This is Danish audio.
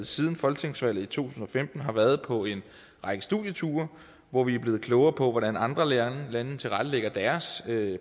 siden folketingsvalget i to tusind og femten har været på en række studieture hvor vi er blevet klogere på hvordan andre lande tilrettelægger deres